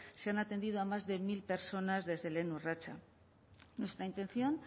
se han atendido a más de mil personas desde lehen urratsa nuestra intención